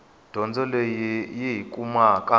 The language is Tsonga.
dyondzo leyi hi yi kumaka